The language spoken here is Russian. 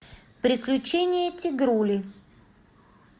приключения тигрули